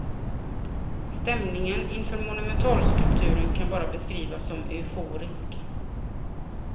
Stämningen inför monumentalskulpturen kan bara beskrivas som euforisk.